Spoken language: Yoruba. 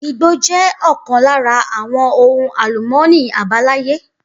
Igbó jẹ ọkan lára àwọn ohun àlùmọ́ọ́nì abalaye